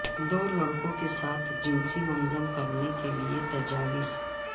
دو لڑکوں کے ساتھ جنسی منظم کرنے کے لئے تجاویز